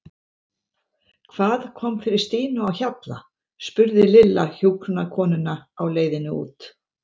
Hvað kom fyrir Stínu á Hjalla? spurði Lilla hjúkrunarkonuna á leiðinni út.